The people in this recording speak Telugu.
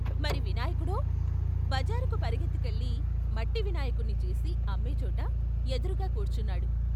మరి వినాయకుడో ? బజారుకు పరుగెత్తు కెళ్ళి మట్టి వినాయకుణ్ణి చేసి అమ్మేచోట ఎదురుగా కూర్చున్నాడు.